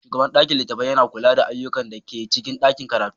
Shugaban ɗakin littatafai yana kula da ayyukan da ke cikin ɗakin karatu.